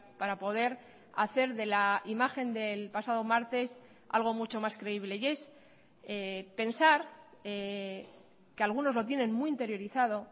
para poder hacer de la imagen del pasado martes algo mucho más creíble y es pensar que algunos lo tienen muy interiorizado